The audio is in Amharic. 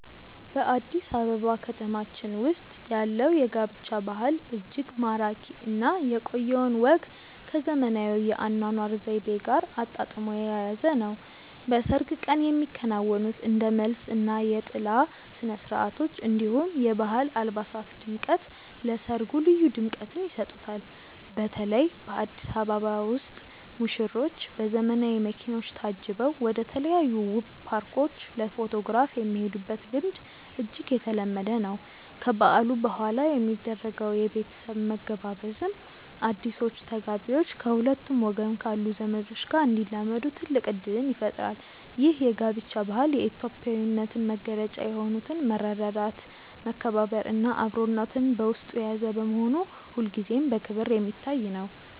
በአዲስ አበባ ከተማችን ውስጥ ያለው የጋብቻ ባህል እጅግ ማራኪ እና የቆየውን ወግ ከዘመናዊው የአኗኗር ዘይቤ ጋር አጣጥሞ የያዘ ነው። በሰርግ ቀን የሚከናወኑት እንደ መልስ እና የጥላ ስነስርዓቶች፣ እንዲሁም የባህል አልባሳት ድምቀት ለሰርጉ ልዩ ድምቀትን ይሰጡታል። በተለይ በአዲስ አበባ ውስጥ ሙሽሮች በዘመናዊ መኪኖች ታጅበው ወደተለያዩ ውብ ፓርኮች ለፎቶግራፍ የሚሄዱበት ልምድ እጅግ የተለመደ ነው። ከበዓሉ በኋላ የሚደረገው የቤተሰብ መገባበዝም አዲሶቹ ተጋቢዎች ከሁለቱም ወገን ካሉ ዘመዶች ጋር እንዲላመዱ ትልቅ እድል ይፈጥራል። ይህ የጋብቻ ባህል የኢትዮጵያዊነትን መገለጫ የሆኑትን መረዳዳት፣ መከባበር እና አብሮነትን በውስጡ የያዘ በመሆኑ ሁልጊዜም በክብር የሚታይ ነው።